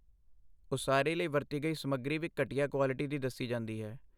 ਉਸਾਰੀ ਲਈ ਵਰਤੀ ਗਈ ਸਮੱਗਰੀ ਵੀ ਘਟੀਆ ਕੁਆਲਿਟੀ ਦੀ ਦੱਸੀ ਜਾਂਦੀ ਹੈ।